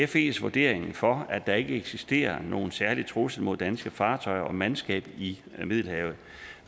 fes vurdering for at der ikke eksisterer nogen særlig trussel mod danske fartøjer og mandskab i middelhavet